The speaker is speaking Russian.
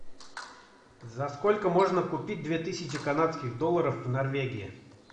за сколько можно купить две тысячи канадских долларов в норвегии